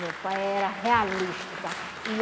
Meu pai era realista, sabe? E